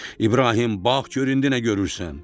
İbrahim, bax gör indi nə görürsən?